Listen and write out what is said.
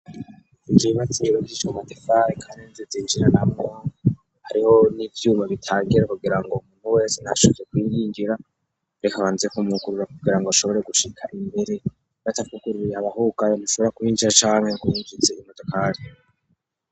Ijimatseiro gichicwa matefaye kanenzi zinjira na mwa hariho n'ivyuma bitangira kugira ngo umuntu wese nashake kwiyingira rekabanzekumwukurwa kugira ngo ashobore gushika imbere batakukururie abahugayo nushobora kuhinjira canke yokungize imodokarya.